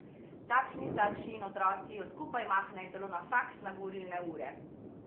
Takšni starši in otroci jo skupaj mahnejo celo na faks na govorilne ure.